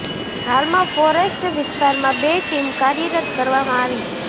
હાલમાં ફોરેસ્ટ વિસ્તારમાં બે ટીમ કાર્યરત કરવામાં આવી છે